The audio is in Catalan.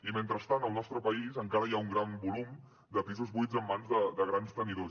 i mentrestant al nostre país encara hi ha un gran volum de pisos buits en mans de grans tenidors